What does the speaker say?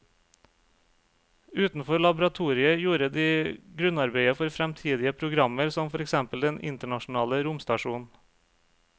Utenfor laboratoriet gjorde de grunnarbeidet for fremtidige programmer som for eksempel den internasjonale romstasjonen.